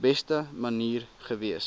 beste manier gewees